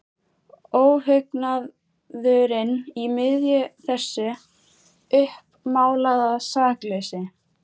Óhugnaðurinn í miðju þessu uppmálaða sakleysi.